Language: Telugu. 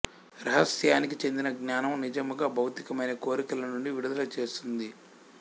రహస్యానికి చెందిన జ్ఞానము నిజముగా భౌతికమైన కోరికలనుండి విడుదల చేస్తుంది